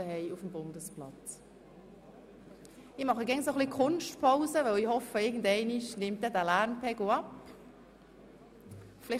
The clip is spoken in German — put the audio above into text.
– Ich mache immer wieder so eine Art Kunstpausen, weil ich immer wieder hoffe, dass der Lärmpegel etwas abnimmt.